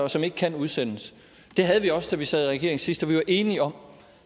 og som ikke kan udsendes det havde vi også da vi sad i regering sidst og vi var enige om